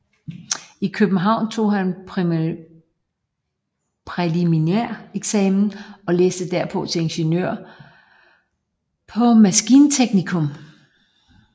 I København tog han præliminæreksamen og læste derpå til ingeniør på maskinteknikum